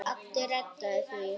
Addi reddaði því.